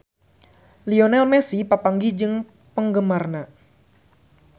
Lionel Messi papanggih jeung penggemarna